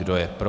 Kdo je pro?